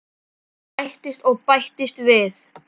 Það bætist og bætist við.